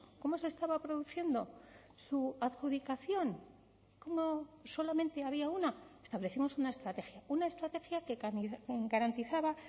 cómo se estaba produciendo su adjudicación cómo solamente había una establecimos una estrategia una estrategia que garantizaba